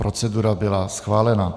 Procedura byla schválena.